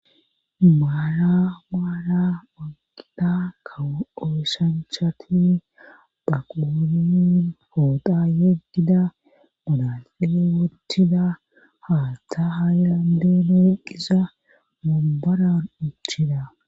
Maala maala wanqida ka ooshanchati baqonin poota yeddida malaqee wottida haattha haayandeenu wuqisa mobaran uchida.